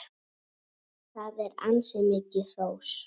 Það er ansi mikið hrós!